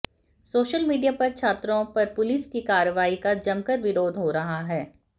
social media पर छात्राओं पर पुलिस की कार्रवाई का जमकर विरोध हो रहा है